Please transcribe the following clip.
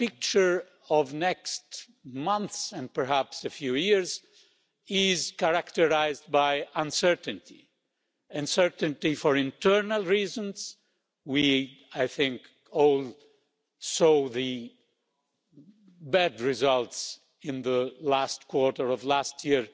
The picture for the next months, and perhaps a few years, is characterised by uncertainty, uncertainty for internal reasons I think we all saw the bad results in the last quarter of last year